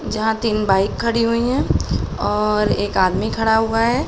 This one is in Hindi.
जहाँ तीन बाइक खड़ी हुई हैं और एक आदमी खड़ा हुआ है।